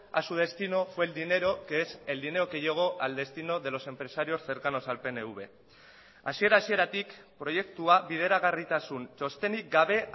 a su destino fue el dinero que es el dinero que llegó al destino de los empresarios cercanos al pnv hasiera hasieratik proiektua bideragarritasun txostenik gabe